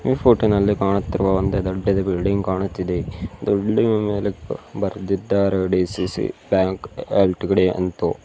ಈ ಫೋಟೋ ನಲ್ಲಿ ಕಾಣುತ್ತಿರುವ ಒಂದು ದೊಡ್ಡದೆ ಬಿಲ್ಡಿಂಗ್ ಕಾಣುತ್ತಿದೆ ಇದು ಬಿಲ್ಡಿಂಗ್ ನ ಮೇಲೆ ಬರೆದಿದ್ದಾರೆ ಡಿ_ಸಿ_ಸಿ ಬ್ಯಾಂಕ್ ಎಲ್_ಟಿ_ಡಿ ಎಂತು.